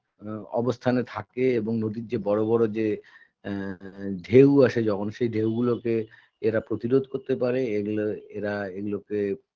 এ অবস্থানে থাকে এবং নদীর যে বড় বড় যে এ ঢেউ আসে যখন সে ঢেউগুলোকে এরা প্রতিরোধ করতে পারে এগুলোর এরা এগুলোকে